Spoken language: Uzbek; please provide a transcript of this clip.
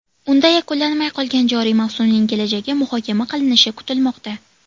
Unda yakunlanmay qolgan joriy mavsumning kelajagi muhokama qilinishi kutilmoqda.